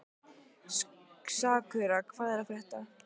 Sakura, hvað er að frétta?